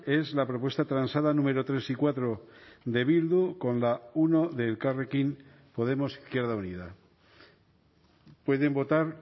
es la propuesta transada número tres y cuatro de bildu con la uno de elkarrekin podemos izquierda unida pueden votar